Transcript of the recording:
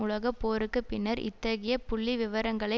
உலக போருக்கு பின்னர் இத்தகைய புள்ளிவிவரங்களை